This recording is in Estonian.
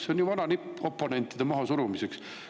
See on ju vana nipp oponentide mahasurumiseks.